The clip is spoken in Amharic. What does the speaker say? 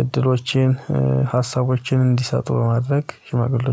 እድሎቼን ሀሳቦቼን እንዲሰጡ በማድረግ ሽማግሌዎች